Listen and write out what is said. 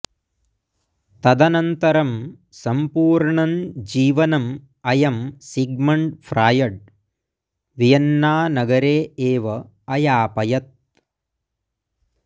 तदनन्तरं सम्पूर्णं जीवनम् अयं सिग्मण्ड् फ्राय्ड् वियन्नानगरे एव अयापयत्